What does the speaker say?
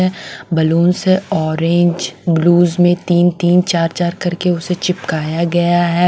है बैलून से orange blues में तीन-तीन चार-चार करके उसे चिपकाया गया है।